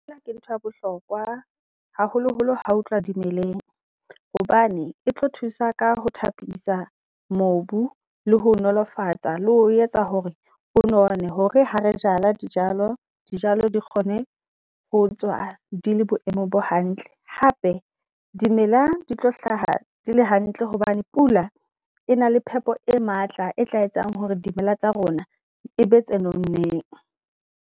Feela ke ntho ya bohlokwa haholoholo ha ho tluwa dimeleng hobane e tlo thusa ka ho thapisa mobu le ho nolofatsa le ho etsa hore o none. Hore ha re jala di jalo, di jalo di kgone ho tswa di le boemong bo hantle. Hape dimela di tlo hlaha di le hantle hobane pula e na le phepo e matla e tla etsang hore dimela tsa rona e be tse nonneng.